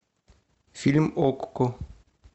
фильм окко